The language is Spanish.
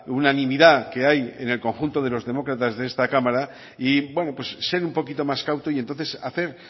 unanimidad que hay en el conjunto de los demócratas de esta cámara y ser un poquito más cauto y entonces hacer